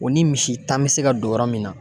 O ni misi tan bɛ se ka don yɔrɔ min na